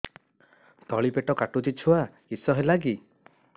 ତଳିପେଟ କାଟୁଚି ଛୁଆ କିଶ ହେଲା କି